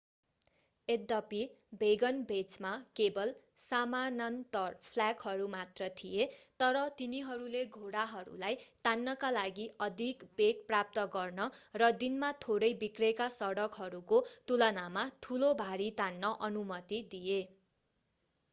यद्यपि वेगनवेजमा केवल समानान्तर फ्ल्याकहरू मात्र थिए तर तिनीहरूले घोडाहरूलाई तान्नका लागि अधिक वेग प्राप्त गर्न र दिनमा थोरै बिग्रेका सडकहरूको तुलनामा ठूलो भारी तान्न अनुमति दिए